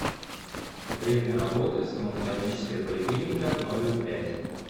время работы стоматологическая поликлиника номер пять